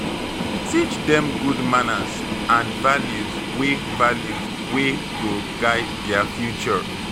Teach dem good manners and values wey values wey go guide their future